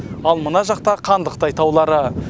ал мына жақта қандықтай таулары